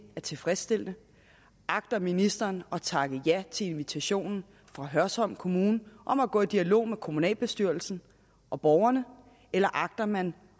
er tilfredsstillende agter ministeren at takke ja til invitationen fra hørsholm kommune om at gå i dialog med kommunalbestyrelsen og borgerne eller agter man